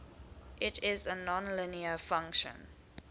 it is a nonlinear function